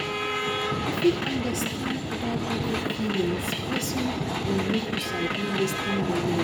To fit understand oda pipo feelings, person go need to sabi lis ten well well